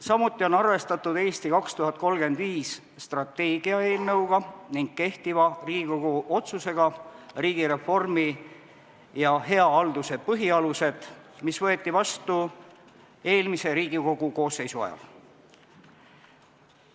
Samuti on arvestatud strateegia "Eesti 2035" eelnõuga ning kehtiva Riigikogu otsusega "Riigireformi ja hea halduse põhialused", mis võeti vastu eelmise Riigikogu koosseisu ajal.